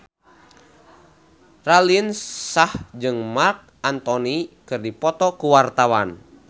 Raline Shah jeung Marc Anthony keur dipoto ku wartawan